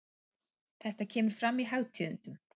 Þetta kemur fram í Hagtíðindum.